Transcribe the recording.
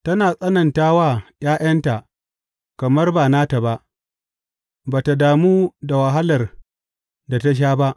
Tana tsananta wa ’ya’yanta kamar ba nata ba ba tă damu da wahalar da ta sha ba.